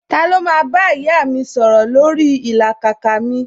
Ta ló máa bá ìyá mi sọ̀rọ̀ lórí ìlàkàkà mi